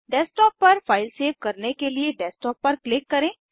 desktop पर file save करने के लिए डेस्कटॉप पर क्लिक करें